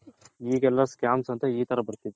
ಹೀಗ್ ಎಲ್ಲಾ scams ಅಂತೆ ಈ ತರ ಬರ್ತಿದೆ